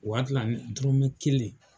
Wa n te na ni dɔrɔmɛ kelen .